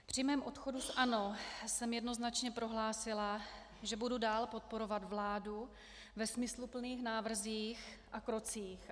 Při svém odchodu z ANO jsem jednoznačně prohlásila, že budu dál podporovat vládu ve smysluplných návrzích a krocích.